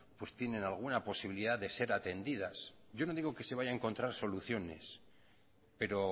tienen alguna posibilidad de ser atendidas yo no digo que se vaya a encontrar soluciones pero